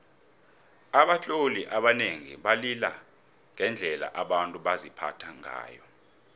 abatloli abanengi balila ngendlela abantu baziphatha ngayo